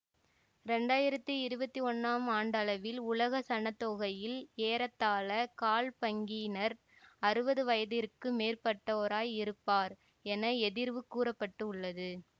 இரண்டாயிரத்தி இருவத்தி ஒன்னாம் ஆண்டளவில் உலக சனத்தொகையில் ஏறத்தாழ கால் பங்கினர் அறுவது வயதிற்கு மேற்பட்டோராய் இருப்பர் என எதிர்வு கூற பட்டுள்ளது